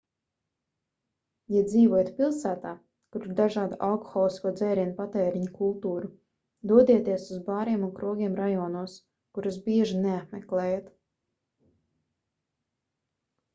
ja dzīvojat pilsētā kur ir dažāda alkoholisko dzērienu patēriņa kultūra dodieties uz bāriem un krogiem rajonos kurus bieži neapmeklējat